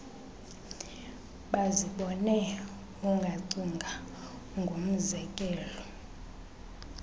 bazibone ungacinga ngomzekelo